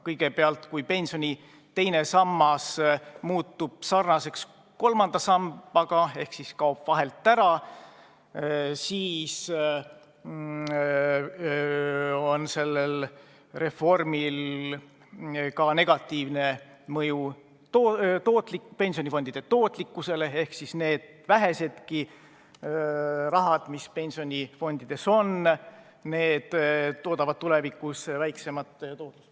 Kui pensioni teine sammas muutub sarnaseks kolmanda sambaga ehk siis kaob vahelt ära, siis on sellel reformil negatiivne mõju ka pensionifondide tootlikkusele: see vähenegi raha, mis pensionifondides on, võimaldab tulevikus väiksemat tootlust.